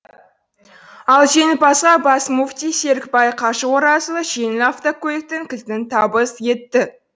ал жеңімпазға бас мүфти серікбай қажы оразұлы жеңіл автокөліктің кілтін табыс етті